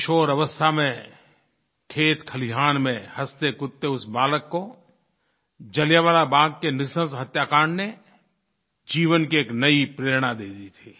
किशोरअवस्था में खेतखलिहान में हँसतेकूदते उस बालक को जलियांवाला बाग़ के नृशंस हत्याकांड ने जीवन की एक नयी प्रेरणा दे दी थी